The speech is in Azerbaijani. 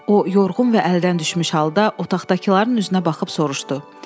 O yorğun və əldən düşmüş halda otaqdakıların üzünə baxıb soruşdu: